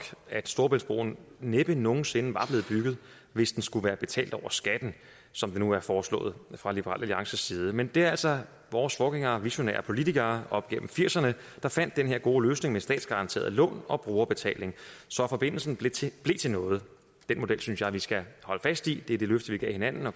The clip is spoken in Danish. at storebæltsbroen næppe nogen sinde var blevet bygget hvis den skulle være betalt over skatten som det nu er foreslået fra liberal alliances side men det er altså vores forgængere visionære politikere op gennem nitten firserne der fandt den her gode løsning med statsgaranterede lån og brugerbetaling så forbindelsen blev til noget den model synes jeg vi skal holde fast i det er det løfte vi gav hinanden og